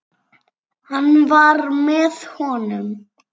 Hann var með honum!